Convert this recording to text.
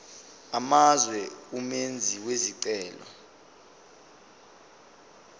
amazwe umenzi wesicelo